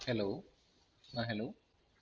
hello ആ hello